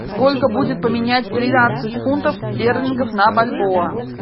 сколько будет поменять тринадцать фунтов стерлингов на бальбоа